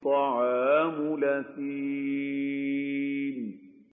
طَعَامُ الْأَثِيمِ